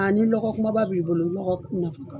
ni lɔgɔ kumaba b'i bolo lɔgɔ ko man fɔ.